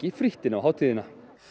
frítt inn á hátíðina